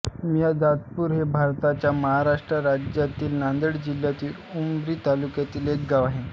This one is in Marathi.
मियादादपूर हे भारताच्या महाराष्ट्र राज्यातील नांदेड जिल्ह्यातील उमरी तालुक्यातील एक गाव आहे